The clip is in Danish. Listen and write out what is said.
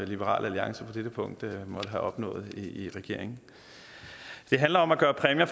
liberal alliance på dette punkt måtte have opnået i regeringen det handler om at gøre præmier